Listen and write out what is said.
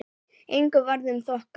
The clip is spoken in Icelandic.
Engu varð um þokað.